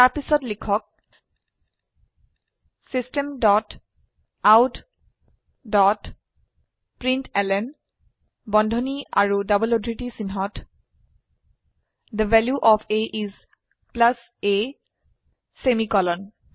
তাৰ পিছত লিখক system dot out dot println বন্ধনী আৰু ডবল উদ্ধৃতি চিনহত the value of a is a semicolon